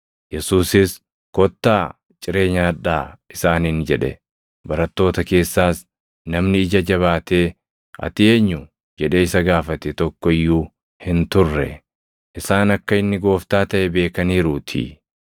Yesuusis, “Kottaa ciree nyaadhaa!” isaaniin jedhe. Barattoota keessaas namni ija jabaatee, “Ati eenyu?” jedhee isa gaafate tokko iyyuu hin turre. Isaan akka inni Gooftaa taʼe beekaniiruutii.